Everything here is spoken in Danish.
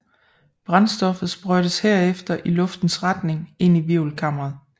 Brændstoffet sprøjtes herefter i luftens retning ind i hvirvelkammeret